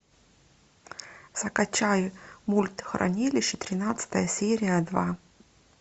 закачай мульт хранилище тринадцатая серия два